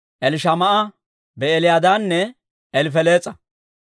Elishamaa'a, Be'eliyaadanne Elifelees'a.